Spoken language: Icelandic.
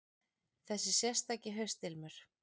Þessi sérstaki haustilmur.